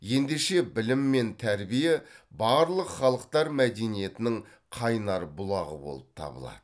ендеше білім мен тәрбие барлық халықтар мәдениетінің қайнар бұлағы болып табылады